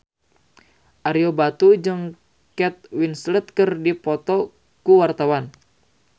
Ario Batu jeung Kate Winslet keur dipoto ku wartawan